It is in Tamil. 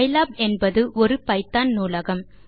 பைலாப் என்பது ஒரு பைத்தோன் நூலகம்